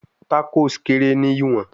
Tacos kere ni iwọn